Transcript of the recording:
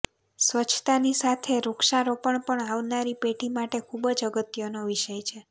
સ્વચ્છતાની સાથે સાથે વૃક્ષારોપણ પણ આવનારી પેઢી માટે ખુબ જ અગત્યનો વિષય છે